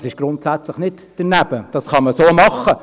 Das ist grundsätzlich nicht daneben, das kann man so machen.